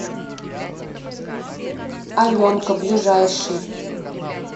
аленка ближайший